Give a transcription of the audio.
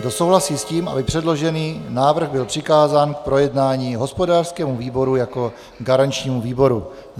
Kdo souhlasí s tím, aby předložený návrh byl přikázán k projednání hospodářskému výboru jako garančnímu výboru?